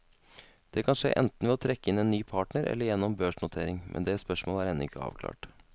Det kan skje enten ved å trekke inn en ny partner eller gjennom børsnotering, men det spørsmålet er ennå ikke avklart.